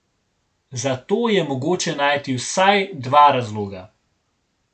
Za to je mogoče najti vsaj dva razloga.